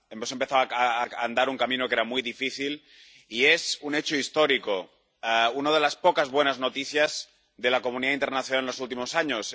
Hemos empezado a andar un camino que era muy difícil y es un hecho histórico, una de las pocas buenas noticias de la comunidad internacional en los últimos años.